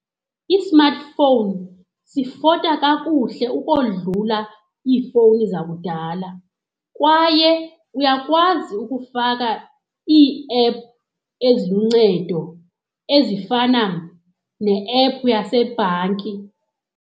I-smartphone sifota kakuhle ukodlula iifowuni zakudala kwaye uyakwazi ukufaka ii-app eziluncedo ezifana ne-app yasebhanki.